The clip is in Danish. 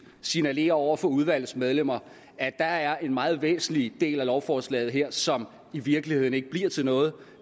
signalerer over for udvalgets medlemmer at der er en meget væsentlig del af lovforslaget her som i virkeligheden ikke bliver til noget